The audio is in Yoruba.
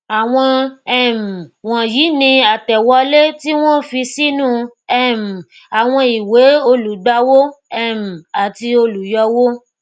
àwọn um wònyíi ni àtẹwọlé tí wón fi sínú um àwọn ìwée olùgbàwó um àti olùyọwó